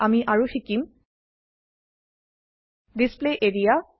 আমি আৰু Sikkim display area